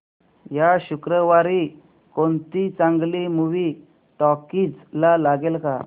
या शुक्रवारी कोणती चांगली मूवी टॉकीझ ला लागेल का